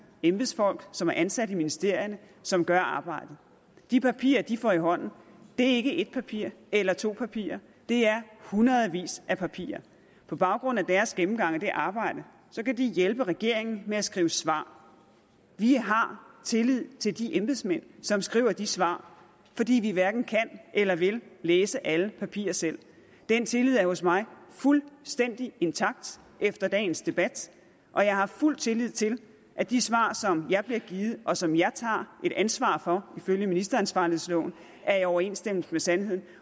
embedsfolk som er ansat i ministerierne som gør arbejdet de papirer de får i hånden er ikke ét papir eller to papirer det er hundredvis af papirer på baggrund af deres gennemgang af det arbejde kan de hjælpe regeringen med at skrive svar vi har tillid til de embedsmænd som skriver de svar fordi vi hverken kan eller vil læse alle papirer selv den tillid er hos mig fuldstændig intakt efter dagens debat og jeg har fuld tillid til at de svar som jeg bliver givet og som jeg tager et ansvar for ifølge ministeransvarlighedsloven er i overensstemmelse med sandheden